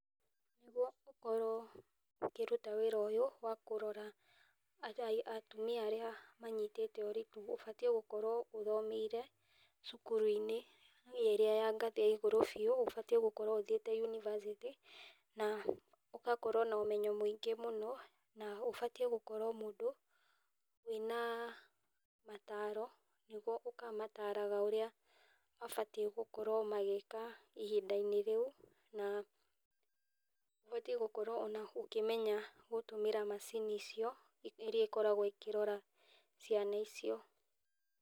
Nĩguo ũkorwo ũkĩruta wĩra ũyũ wa kũrora atumia arĩa manyitĩte ũritũ, ũbatiĩ gũkorwo ũthomeire cukuru-inĩ ĩrĩa ya ngathĩ ya igũrũ biũ. Ũbatiĩ gũkorwo ũthiĩte yunibacĩtĩ, na ũgakorwo na ũmenyo mũingĩ mũno, na ũbatiĩ gũkorwo mũndũ wĩna mataaro, nĩguo ũkamataraga ũrĩa mabatiĩ gũkorwo magĩĩka ihinda-inĩ rĩu, na ũbatiĩ gũkorwo o na ũkĩmenya gũtũmĩra macini icio, iria ikoragwo ikĩrora ciana icio.